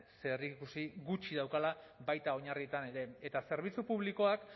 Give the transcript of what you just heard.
zerikusi gutxi daukala baita oinarrietan ere eta zerbitzu publikoak